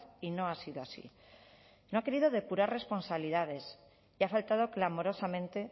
y no ha sido así no ha querido depurar responsabilidades y ha faltado clamorosamente